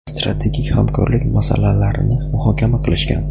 strategik hamkorlik masalalarini muhokama qilishgan.